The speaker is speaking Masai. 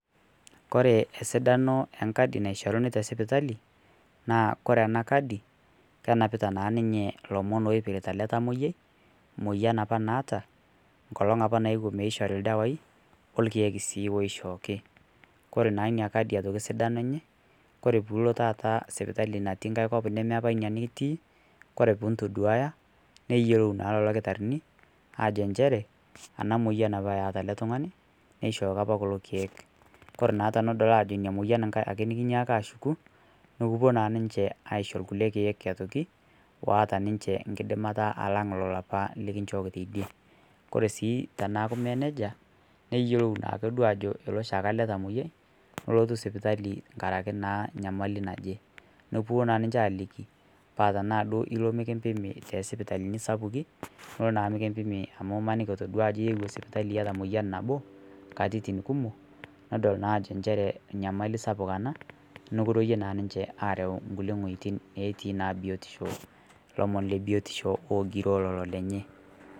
Kore sidaano enkadi naishorini te sipitali, naa kore apa ana kaadi kenepita naa ninye lomoon opiritaa ele ltamoyia, moyian apaa naata, nkolong apaa naeyuo meishori ldewai, orkiek sii oshooki. Kore naa enia kaadi sidano enye, kore puloo taata sipitali natii nkai nkoop nemee apaa nia itii kore pii itoduwaya neiyeloo naa lkitaarin ajo ncheere ana moyian apa eeta ele ltung'ani neishooki apa kuloo lkiek. Kore naa tenedolii ajo enya moyian ake nikinyaaka ashukuu nukupoo naa ninchee aishoo nkulee lkiek aitoki oata ninchee nkidimaata alang' lolo apaa likinchooki tedie. Kore sii tenaaku mee nejaa neiyeloo naake doo ajo eloo shaake ele tamoyiaa lenotuu sipitali ng'araki naa nyamali najee. Nekopoo naa ninchee aliiki paa tana doo eloo nikipimii te sipitali sapuki niloo naa mikipiim amu iimaniki otodua ajoo ieyuo sipitali etaa moyian napoo nkatitin kumook nedool naa ajoo ncheree nyamali sapuk ana nikirewue naa ninchee areeu nkulee oojitin netii naa biotisho lomoon le biotisho oojirio lelo lenyee.